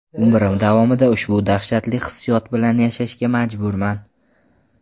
Umrim davomida ushbu dahshatli hissiyot bilan yashashga majburman.